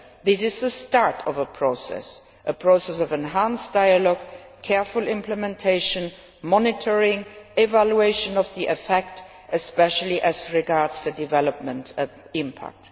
This is the start of a process of enhanced dialogue, careful implementation, monitoring, and evaluation of the effect, especially as regards the development impact.